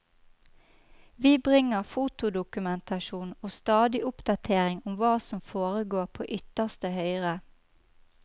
Vi bringer fotodokumentasjon og stadig oppdatering om hva som foregår på ytterste høyre.